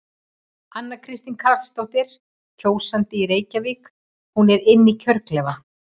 Anna Kristín Karlsdóttir, kjósandi í Reykjavík: Hún er inn í kjörklefa?